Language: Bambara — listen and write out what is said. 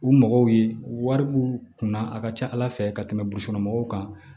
U mɔgɔw ye wari b'u kunna a ka ca ala fɛ ka tɛmɛ busɔn mɔgɔw kan